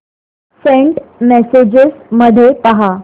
Saint messages मध्ये पहा